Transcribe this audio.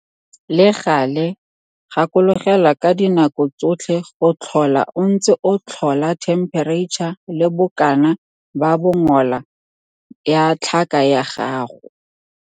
Le gale, gakologelwa ka dinako tsotlhe go tlhola o ntse o tlhola thempereitšha le bokana ba bongola ya tlhaka ya gago.